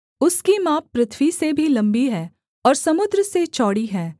उसकी माप पृथ्वी से भी लम्बी है और समुद्र से चौड़ी है